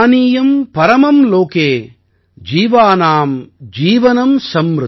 பானியம் பரமம் லோகே ஜீவானாம் ஜீவனம் சம்ருதம்